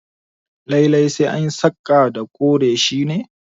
Lallai sai anyi saƙa da kore shi ne?